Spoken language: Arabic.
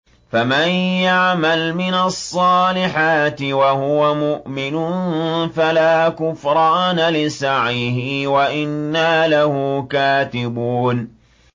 فَمَن يَعْمَلْ مِنَ الصَّالِحَاتِ وَهُوَ مُؤْمِنٌ فَلَا كُفْرَانَ لِسَعْيِهِ وَإِنَّا لَهُ كَاتِبُونَ